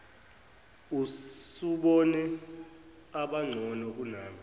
usubone abangcono kunami